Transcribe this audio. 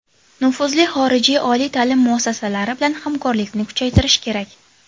Nufuzli xorijiy oliy ta’lim muassasalari bilan hamkorlikni kuchaytirish kerak.